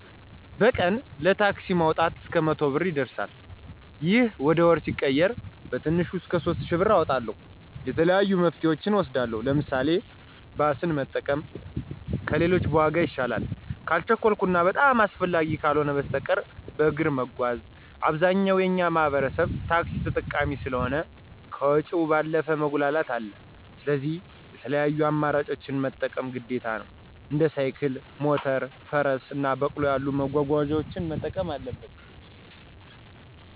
በቀን ለታክሲ ማወጣው እስከ መቶ ብር ይደርሳል። ይህ ወደ ወር ሲቀየር በትንሹ እስከ ሶስት እሽ ብር አወጣለሁ። የተለያዩ መፍትሄወችን እወስዳለሁ። ለምሳሌ፦ ባስን መጠቀም ከሌሎች በዋጋ ይሻላል። ካልቸኮልሁ እና በጣም አስፈላጊ ካልሆ በስተቀር በእግር መጓዝ። አብዛኛው የእኛ ማህበረሰብ ታክሲ ተጠቃሚ ስለሆ ከወጭው ባለፈ መጉላላትም አለ። ስለዚህ የተለያዩ አማራጮችን መጠቀም ግዴታ ነው። እንደ ሳይክል፣ ሞተር፣ ፈረስ እና በቅሎ ያሉ መጓጓዣወችን መጠቀም አለበት።